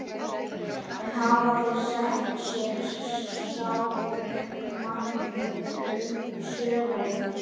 En hafa þeir sett sér sjálfir markmið fyrir sumarið?